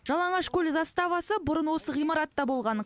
жалаңашкөл заставасы бұрын осы ғимаратта болған